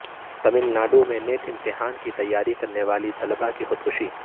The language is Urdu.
تمل ناڈو میں نیٹ امتحان کی تیاری کرنے والی طالبہ کی خودکشی